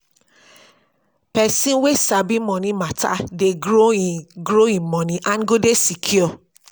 pesin wey sabi moni mata dey grow in grow in moni and go dey secure